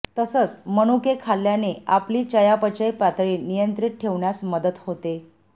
तसंच मनुके खाल्याने आपली चयापचय पातळी नियंत्रित ठेवण्यास मदत होते